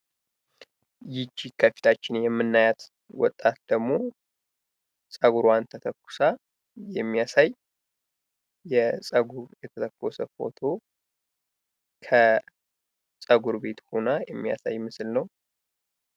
ይቺ ከፊታችን የምናያት ወጣት ደሞ ፀጉሯን ተተኩሳ የሚያሳይ የፀጉር የተተኮሰ ፎቶ ከ ፀጉር ቤት ሁና የሚያሳይ ምስል ነው።